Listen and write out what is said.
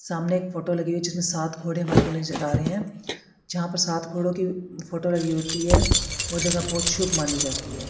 सामने एक फोटो लगी हुई है जिसमें सात घोड़े हमारे को नजर आ रहे हैं जहां पर सात घोड़ों की फोटो लगी होती है वह जगह बहुत शुभ मानी जाती है।